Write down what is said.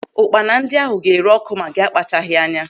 Ụkpana ndị ahụ ga-ere ọ́kụ́ ma gị akpachaghi anya.